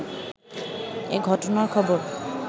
এ ঘটনার খবর